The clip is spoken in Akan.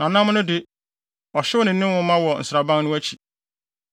Na nam no de, ɔhyew ne ne nwoma wɔ nsraban no akyi.